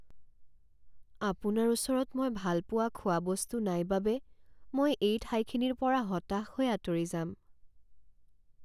আপোনাৰ ওচৰত মই ভাল পোৱা খোৱা বস্তু নাই বাবে মই এই ঠাইখিনিৰ পৰা হতাশ হৈ আঁতৰি যাম৷